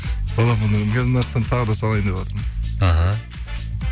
мына жақтан тағы салайындеватырмын аха